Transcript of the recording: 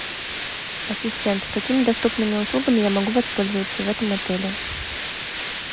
ассистент какими доступными услугами я могу воспользоваться в этом отеле